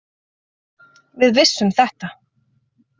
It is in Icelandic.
Við vissum þetta.